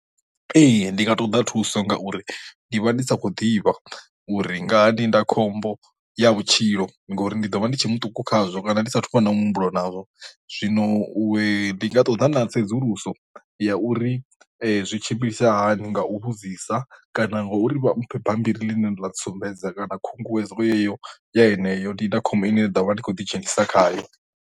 Ee ndi nga ṱoḓa thuso ngauri ndi vha ndi sa khou ḓivha uri ngaha ndindakhombo ya vhutshilo ngauri ndi ḓo vha ndi tshe muṱuku khazwo kana ndi sa thuvha nayo muhumbulo nazwo, zwino u ndi nga ṱoḓa na tsedzuluso ya uri zwi tshimbilisa hani nga u vhudzisa kana ngauri vha mphe bambiri ḽine ḽa ntsumbedza kana khunguwedzo yeyo yeneyo ndindakhombo ine ndo vha ndi khou ḓidzhenisa khayo.